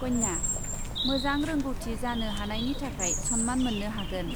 कन्या, मोजां रोंग'थि जानो हानायनि थाखाय सन्मान मोन्नो हागोन ।